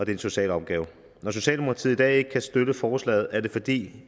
en social opgave når socialdemokratiet i dag ikke kan støtte forslaget er det fordi